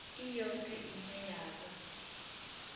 i yoṱhe ine ya vha